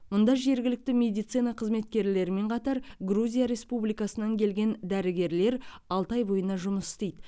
мұнда жергілікті медицина қызметкерлерімен қатар грузия республикасынан келген дәрігерлер алты ай бойына жұмыс істейді